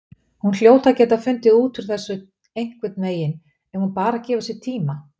Hún hljóti að geta fundið út úr þessu einhvernveginn ef hún bara gefur sér tíma.